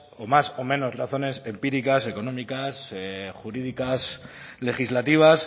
o más o menos razones empíricas económicas jurídicas legislativas